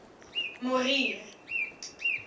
morier